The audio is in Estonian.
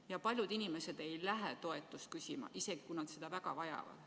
Ja paljud inimesed ei lähe toetust küsima, isegi kui nad seda väga vajavad.